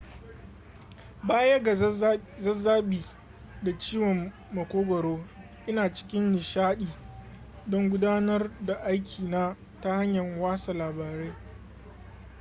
baya ga zazzabi da ciwon makogaro ina cikin nishadi don gudanar da aikina ta hanyar watsa labarai